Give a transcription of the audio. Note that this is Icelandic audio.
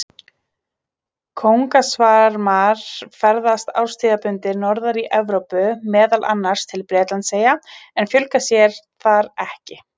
Kóngasvarmar ferðast árstíðabundið norðar í Evrópu, meðal annars til Bretlandseyja, en fjölga sér þar ekki.